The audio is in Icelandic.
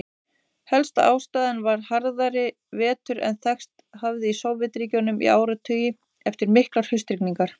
Helsta ástæðan var harðari vetur en þekkst hafði í Sovétríkjunum í áratugi, eftir miklar haustrigningar.